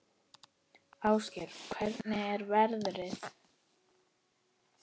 Ásgeir, hvernig er veðrið?